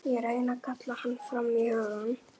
Ég reyni að kalla hann fram í hugann.